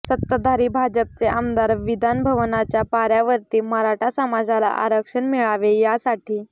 सत्ताधारी भाजपचे आमदार विधान भवनाच्या पाऱ्यावरती मराठा समाजाला आरक्षण मिळावे यासाठी